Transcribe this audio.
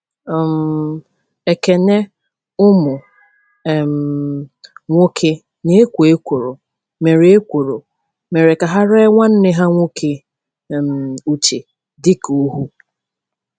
um Ekene ụmụ um nwoke na-ekwo ekworo mere ekworo mere ka ha ree nwanne ha nwoke um Uche dị ka ohu.